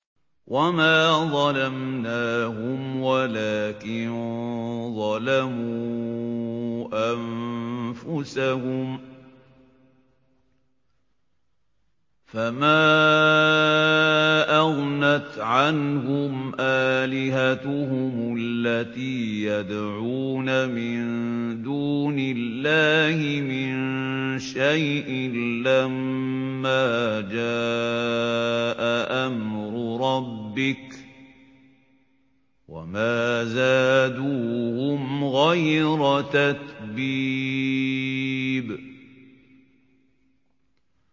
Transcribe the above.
وَمَا ظَلَمْنَاهُمْ وَلَٰكِن ظَلَمُوا أَنفُسَهُمْ ۖ فَمَا أَغْنَتْ عَنْهُمْ آلِهَتُهُمُ الَّتِي يَدْعُونَ مِن دُونِ اللَّهِ مِن شَيْءٍ لَّمَّا جَاءَ أَمْرُ رَبِّكَ ۖ وَمَا زَادُوهُمْ غَيْرَ تَتْبِيبٍ